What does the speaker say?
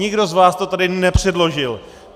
Nikdo z vás to tady nepředložil!